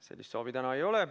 Sellist soovi täna ei ole.